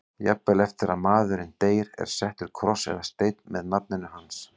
Jafnvel eftir að maðurinn deyr er settur kross eða steinn með nafninu hans.